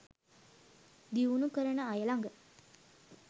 දියුණු කරන අය ලග